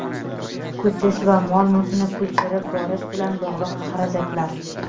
ko‘chish va mol-mulkni ko‘chirib borish bilan bog‘liq xarajatlar;.